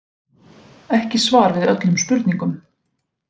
Ekki svar við öllum spurningum